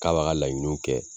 K'a b'a ka laɲiniw kɛ